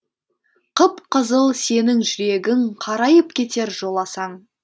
қып қызыл сенің жүрегің қарайып кетер жоласаң